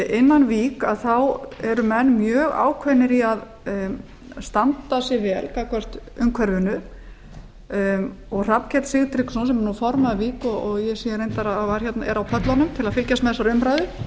innan vík eru menn mjög ákveðnir í að standa sig vel gagnvart umhverfinu hrafnkell sigtryggsson sem er nú formaður vík ég sé reyndar að hann er hér á pöllunum til að fylgjast með þessari umræðu